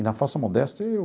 Na falsa modéstia eu...